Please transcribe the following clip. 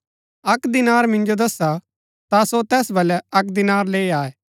अक्क दीनार मिन्जो दस्सा ता सो तैस वलै अक्क दीनार लैई आये